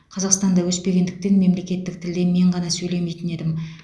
қазақстанда өспегендіктен мемлекеттік тілде мен ғана сөйлемейтін едім